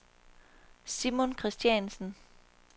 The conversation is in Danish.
Simon Christiansen